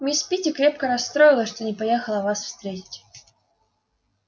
мисс питти крепко расстроилась что не поехала вас встретить